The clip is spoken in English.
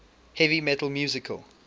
heavy metal musical